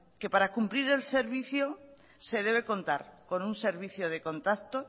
que para cumplir el servicio se debe contar con un servicio de contacto